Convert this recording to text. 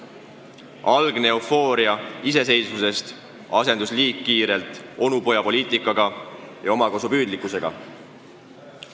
Algne eufooria iseseisvuse saavutamisest asendus õige kiirelt onupojapoliitika ja omakasupüüdlikkusega.